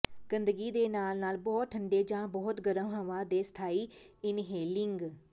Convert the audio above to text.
ਗੰਦਗੀ ਦੇ ਨਾਲ ਨਾਲ ਬਹੁਤ ਠੰਡੇ ਜਾਂ ਬਹੁਤ ਗਰਮ ਹਵਾ ਦੇ ਸਥਾਈ ਇਨਹੇਲਿੰਗ